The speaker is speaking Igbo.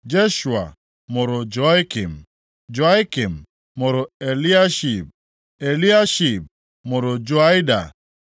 Jeshua mụrụ Joiakim, Joiakim mụrụ Eliashib, Eliashib mụrụ Joiada,